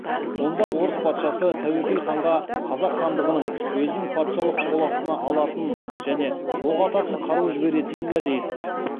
онда орыс патшасы тәуекел ханға қазақ хандығын өзінің патшалық қол астына алатынын және оқ ататын қару жіберетінін уәде етті